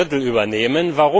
ein Drittel übernehmen.